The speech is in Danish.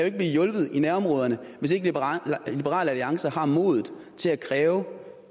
ikke blive hjulpet i nærområderne hvis ikke liberal liberal alliance har modet til at kræve